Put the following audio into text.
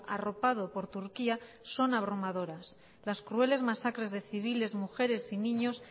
arropado por turquía son abrumadoras las crueles masacres de civiles mujeres y niños